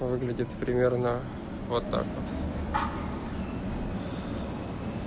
выглядит примерно вот так вот